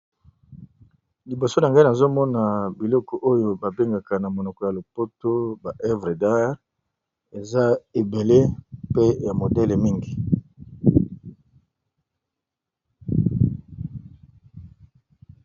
Liboso , Na ngai ! nazomona biloko oyo babengaka na monoko ya lopoto ba Œuvre D'art , eza ebele ! mpe ya modele mingi .